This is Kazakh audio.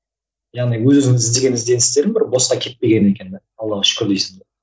яғни өз өзіңнің іздеген ізденістерің бір босқа кетпеген екен де аллаға шүкір дейсің де